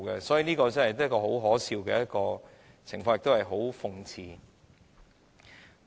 所以，這真是很可笑的情況，亦是一種諷刺。